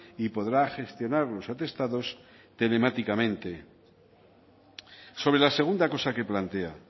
y podrá gestionar los atestados telemáticamente sobre la segunda cosa que plantea